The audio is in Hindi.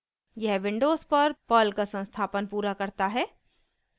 यह विंडोज़ पर पर्ल का संस्थापन पूरा करता है